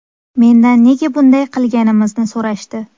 Mendan nega bunday qilganimizni so‘rashdi.